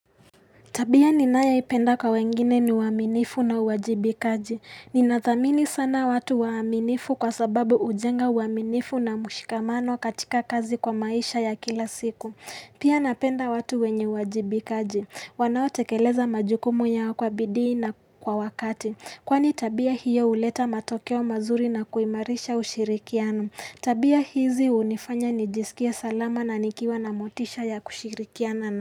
Tabia ni nayoipenda kwa wengine ni uaminifu na uwajibikaji. Ninathamini sana watu waaminifu kwa sababu hujenga uwaminifu na mshikamano katika kazi kwa maisha ya kila siku. Pia napenda watu wenye wajibikaji. Wanao tekeleza majukumu yao kwa bidii na kwa wakati. Kwani tabia hiyo huleta matokeo mazuri na kuimarisha ushirikiano. Tabia hizi hunifanya nijisikie salama na nikiwa na motisha ya kushirikiana.